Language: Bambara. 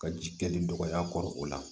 Ka ji kɛli dɔgɔya kɔrɔ o la